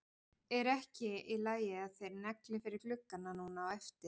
Er ekki í lagi að þeir negli fyrir gluggana núna á eftir?